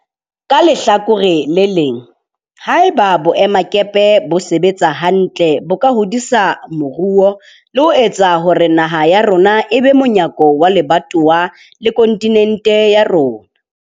Ka lehlakore le leng, haeba boemakepe bo sebetsa hantle bo ka hodisa moruo le ho etsa hore naha ya rona e be monyako wa lebatowa le kontinente ya rona.